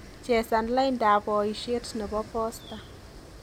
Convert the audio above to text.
Chesan laindab boishet nebo posta